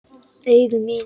Augu mín.